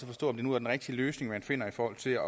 forstå om det nu er den rigtige løsning man finder i forhold til